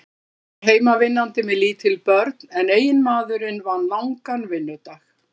Konan var heimavinnandi með lítil börn en eiginmaðurinn vann langan vinnudag.